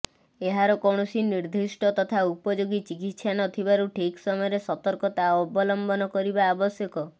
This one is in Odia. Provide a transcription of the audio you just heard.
ଏହାର କୌଣସି ନିର୍ଦ୍ଦିଷ୍ଟ ତଥା ଉପଯୋଗୀ ଚିକିତ୍ସା ନ ଥିବାରୁ ଠିକ୍ ସମୟରେ ସତର୍କତା ଅବଲମ୍ବନ କରିବା ଆବଶ୍ୟକ